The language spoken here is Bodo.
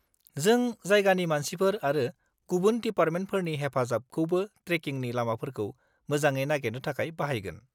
जों जायगानि मानसिफोर आरो गुबुन डिपार्टमेन्टफोरनि हेफाजाबखौबो ट्रेकिंनि लामाफोरखौ मोजाङै नागेरनो थाखाय बाहायगोन।